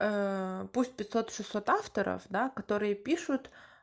пусть пятьсот шестьсот авторов да которые пишут